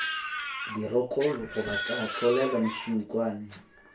dirokolo goba tša tlolelwa mešunkwane